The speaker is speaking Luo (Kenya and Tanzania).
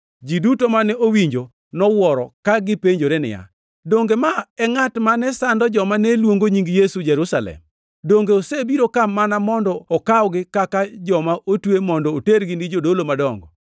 Ji duto mane owinje nowuoro ka gipenjore niya, “Donge ma e ngʼat mane sando joma ne luongo Nying Yesu Jerusalem? Donge osebiro ka mana mondo okawgi kaka joma otwe mondo otergi ni Jodolo madongo?”